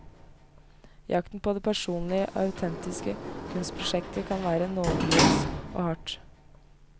Jakten på det personlige og autentiske kunstprosjektet kan være nådeløs og hard.